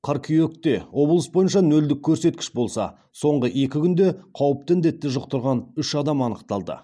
қыркүйекте облыс бойынша нөлдік көрсеткіш болса соңғы екі күнде қауіпті індетті жұқтырған үш адам анықталды